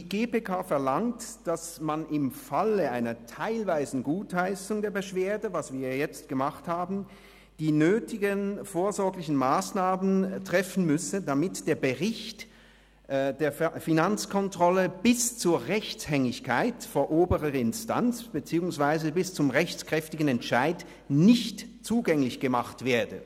Die GPK verlangt, dass man im Fall einer teilweisen Gutheissung der Beschwerde – was wir ja jetzt gemacht haben – die nötigen vorsorglichen Massnahmen treffen müsse, damit der Bericht der Finanzkontrolle bis zur Rechtshängigkeit vor oberer Instanz beziehungsweise bis zum rechtskräftigen Entscheid nicht zugänglich gemacht wird.